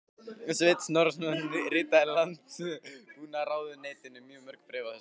Sveinn Snorrason ritaði Landbúnaðarráðuneytinu mörg bréf á þessum árum.